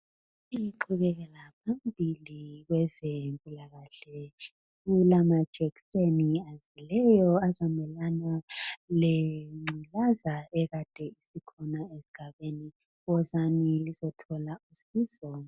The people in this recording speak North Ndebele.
Lingixolele ngaphambili kwezempilakahle kulamajekiseni agcweleyo azamelana lengculaza ekade ikhona esigabeni wozani lizothola usizo.